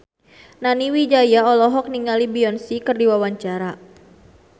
Nani Wijaya olohok ningali Beyonce keur diwawancara